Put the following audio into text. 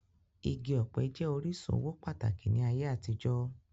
Igi ọpẹ jẹ orisun owo pataki ni aye atijọ.